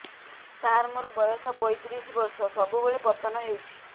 ସାର ମୋର ବୟସ ପୈତିରିଶ ବର୍ଷ ସବୁବେଳେ ପତନ ହେଉଛି